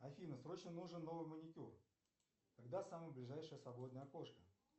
афина срочно нужен новый маникюр когда самое ближайшее свободное окошко